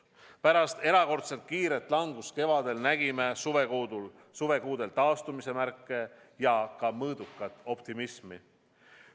Pärast erakordselt kiiret langust kevadel nägime suvekuudel taastumise märke ja ka mõõdukat optimismi.